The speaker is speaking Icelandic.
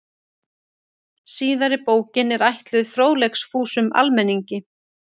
Síðari bókin er ætluð fróðleiksfúsum almenningi.